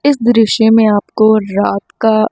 इस दृश्य में आपको रात का--